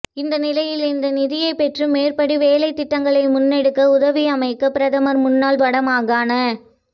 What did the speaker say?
இந்நிலையில் இந்நிதியை பெற்று மேற்படி வேலைத்திட்டங்களை முன்னெடுக்க உதவியமைக்காக பிரதமர் முன்னாள் வடமாகாண